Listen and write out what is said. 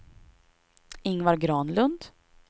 Ingvar Granlund